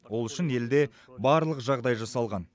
ол үшін елде барлық жағдай жасалған